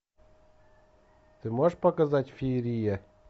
ты можешь показать феерия